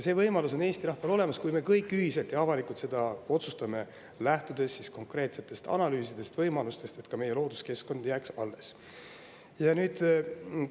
See võimalus on Eesti rahval olemas, kui me kõik ühiselt ja avalikult seda otsustame, lähtudes konkreetsetest analüüsidest ja võimalustest, et ka meie looduskeskkond jääks alles.